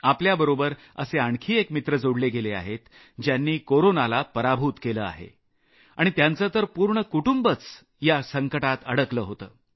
आपल्याबरोबर असे आणखी एक मित्र जोडले गेले आहेत ज्यांनी कोरोनाला पराभूत केलं आहे आणि त्यांचं तर पूर्ण कुटुंबच या संकटात अडकलं होतं